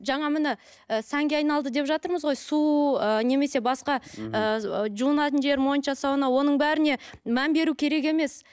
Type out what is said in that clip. жаңа міне ы сәнге айналды деп жатырмыз ғой су ы немесе басқа ы жуынатын жер монша сауна оның бәріне мән беру керек емес